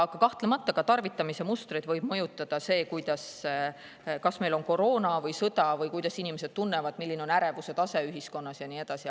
Aga kahtlemata tarvitamise mustreid võib mõjutada see, kas meil on koroona või sõda või mida inimesed tunnevad, milline on ärevuse tase ühiskonnas ja nii edasi.